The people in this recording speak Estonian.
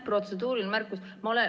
Protseduuriline märkus.